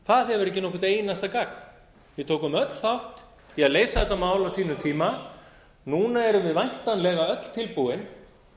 það hefur ekki nokkurt einasta gagn við tókum öll þátt í að leysa þetta mál á sínum tíma núna erum við væntanlega öll tilbúin